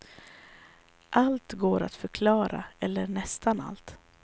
Allt går att förklara, eller nästan allt.